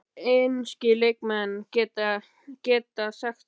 Hversu margir enski leikmenn geta sagt það?